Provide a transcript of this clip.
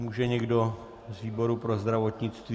Může někdo z výboru pro zdravotnictví?